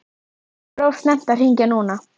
Það var of snemmt að hringja núna.